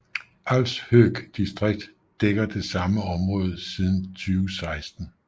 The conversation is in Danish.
Alfshøg distrikt dækker det samme område siden 2016